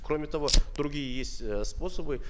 кроме того другие есть э способы